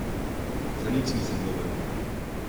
Za nič nisem dober.